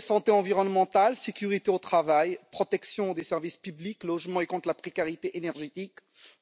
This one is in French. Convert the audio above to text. Santé environnementale, sécurité au travail, protection des services publics, logements, lutte contre la précarité énergétique,